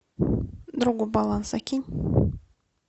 другу баланс закинь